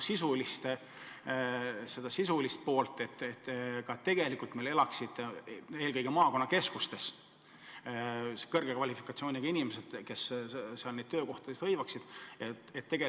Selgitage seda sisulist poolt: kas eelkõige maakonnakeskustes tegelikult ka elavad kõrge kvalifikatsiooniga inimesed, kes seal neid töökohti on hõivanud?